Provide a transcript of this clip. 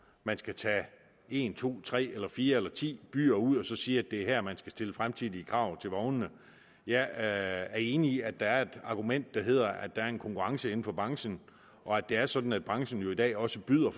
man skal tage en to tre fire eller ti byer ud og så sige at det er her man skal stille fremtidige krav til vognene jeg er enig i at der er et argument der hedder at der er en konkurrence inden for branchen og at det er sådan at branchen jo i dag også byder